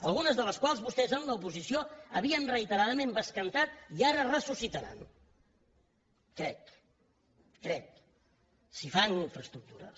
algunes de les quals vostès en l’oposició havien reiteradament bescantat i ara ressuscitaran crec ho crec si fan infraestructures